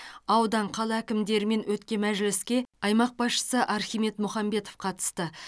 аудан қала әкімдерімен өткен мәжіліске аймақ басшысы архимед мұхамбетов қатысты